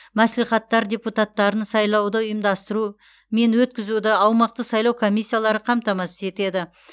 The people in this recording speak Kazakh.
мәслихаттар депутаттарын сайлауды ұйымдастыру мен өткізуді аумақтық сайлау комиссиялары қамтамасыз етеді